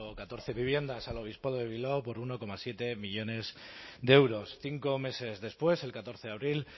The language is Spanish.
catorce viviendas al obispado de bilbao por uno coma siete millónes de euros cinco meses después el catorce de abril